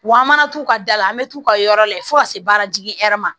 Wa an mana t'u ka da la an bɛ t'u ka yɔrɔ lajɛ fo ka se baaratigi hɛrɛ ma